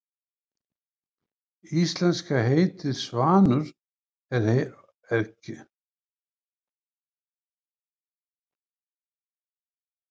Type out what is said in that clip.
Íslenska heitið svanur er keimlíkt öðrum orðum í germönskum tungumálum yfir sama fyrirbæri.